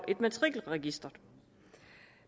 matrikelregisteret